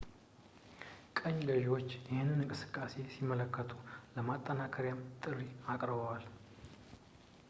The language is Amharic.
ቅኝ ገዥዎች ይህንን እንቅስቃሴ ሲመለከቱ ለማጠናከሪያም ጥሪ አቅርበዋል